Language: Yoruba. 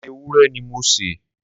ẹran ewúrẹ́ ni mo se.